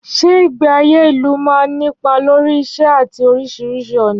Ṣé ìgbé ayé ìlú máa ń nípa lórí ìṣe àti oríṣiríṣi ọ̀nà?